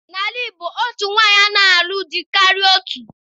N'ala Igbo, otu nwaanyị anaghị alụ dị karịrị otu.